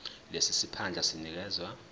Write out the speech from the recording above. lesi siphandla sinikezwa